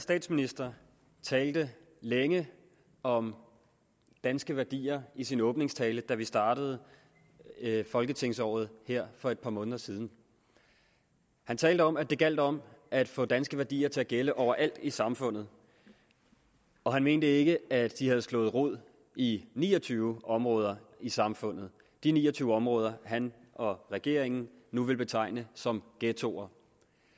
statsminister talte længe om danske værdier i sin åbningstale da vi startede folketingsåret her for et par måneder siden han talte om at det gjaldt om at få danske værdier til at gælde overalt i samfundet og han mente ikke at de havde slået rod i ni og tyve områder i samfundet de ni og tyve områder han og regeringen nu vil betegne som ghettoer